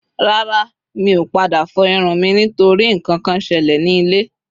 Rara. Mi o pada fo irun mi nitori nkankan sele ni ile